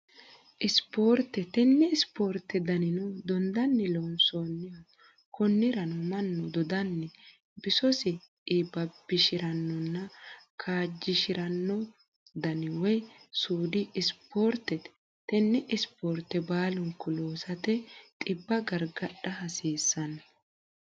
Ispoortette, tene isipoorite daninno dondanni loonsanniho koniranno manu dodanni bisosi iiba'bishiranonna kaajishaliranno dani woyi suudi isiporiteti, tene isiporite baalu'nku loosate xiba garigadha hasisano